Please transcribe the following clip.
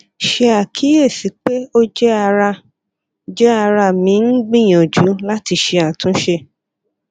ṣe akiyesi pe o jẹ ara jẹ ara mi n gbiyanju lati ṣe atunṣe